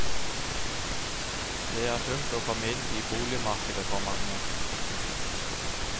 Det er tungt å komme inn i boligmarkedet for mange.